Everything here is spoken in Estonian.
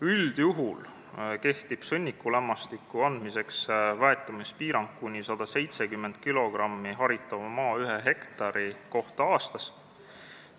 Üldjuhul kehtib sõnnikulämmastiku andmisel väetamispiirang kuni 170 kilogrammi haritava maa ühe hektari kohta aastas.